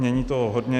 Mění toho hodně.